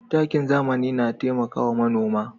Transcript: Takin zamani na taimakawa manoma.